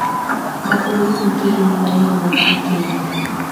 Mabũrũri ma kĩgeni maraiguana na Kenya.